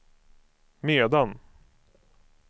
medan